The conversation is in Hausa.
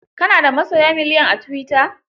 Ka na da masoya miliyan a tuwita?